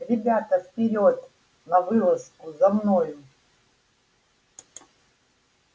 ребята вперёд на вылазку за мною